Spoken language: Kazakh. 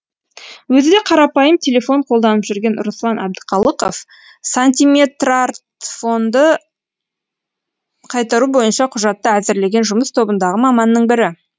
өзі де қарапайым телефон қолданып жүрген руслан әбдіқалықов сантиметрартфонды қайтару бойынша құжатты әзірлеген жұмыс тобындағы маманның бірі